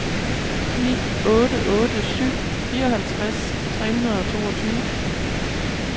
ni otte otte syv fireoghalvtreds tre hundrede og toogtyve